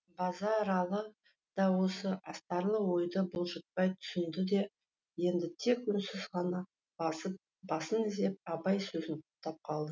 базаралы да осы астарлы ойды бұлжытпай түсінде де енді тек үнсіз ғана басын изеп абай сөзін құптап қалды